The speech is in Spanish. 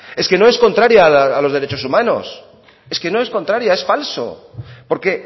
es que no es contraria a los derechos humanos es que no es contraria es falso porque